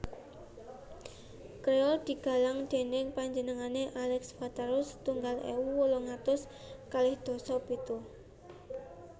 Créole digalang dèning panjenengané Alex watara setunggal ewu wolung atus kalih dasa pitu